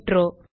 நன்றி